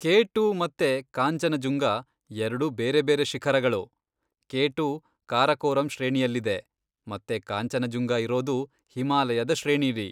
K two ಮತ್ತೆ ಕಾಂಜನಜುಂಗ ಎರ್ಡೂ ಬೇರೆಬೇರೆ ಶಿಖರಗಳು, ಕೆ ಟು ಕಾರಕೋರಂ ಶ್ರೇಣಿಯಲ್ಲಿದೆ, ಮತ್ತೆ ಕಾಂಚನಜುಂಗ ಇರೋದು ಹಿಮಾಲಯದ ಶ್ರೇಣಿಲಿ.